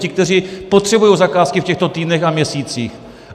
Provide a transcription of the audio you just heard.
Ti, kteří potřebují zakázky v těchto týdnech a měsících.